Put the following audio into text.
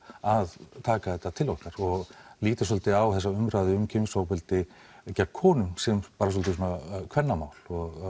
að taka þetta til okkar og líta svolítið á þessa umræðu um kynferðisofbeldi gegn konum sem svolítið svona kvennamál